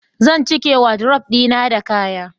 zan cike wadrob dina da kaya